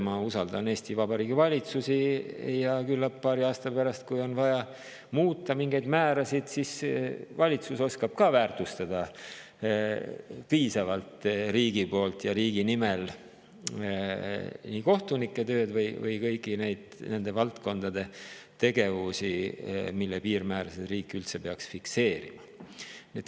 Ma usaldan Eesti Vabariigi valitsusi ja küllap paari aasta pärast, kui on vaja mingeid määrasid muuta, siis valitsus oskab riigi poolt ja riigi nimel piisavalt väärtustada nii kohtunike tööd kui üldse kõigi nende valdkondade tegevusi, kus riik peaks mingeid piirmäärasid fikseerima.